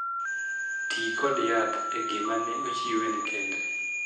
Tii kod yath e gima ne ochiwe ne kende.